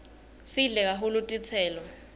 sidle kahulu tiselo